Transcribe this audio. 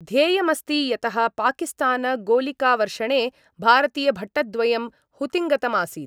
ध्येयमस्ति यतः पाकिस्तानगोलिकावर्षणे भारतीयभटद्वयं हुतिङ्गतमासीत्